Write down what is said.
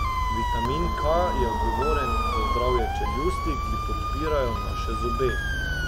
Vitamin K je odgovoren za zdrave čeljusti, ki podpirajo naše zobe.